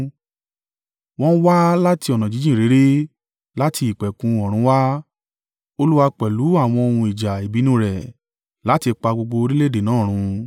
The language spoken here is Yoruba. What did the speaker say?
Wọ́n wá láti ọ̀nà jíjìn réré, láti ìpẹ̀kun ọ̀run wá Olúwa pẹ̀lú àwọn ohun ìjà ìbínú rẹ̀, láti pa gbogbo orílẹ̀-èdè náà run.